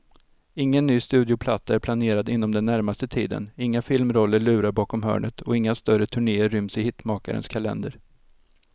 Ingen ny studioplatta är planerad inom den närmaste tiden, inga filmroller lurar bakom hörnet och inga större turnéer ryms i hitmakarens kalender.